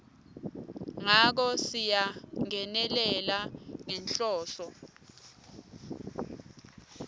ngako siyangenelela ngenhloso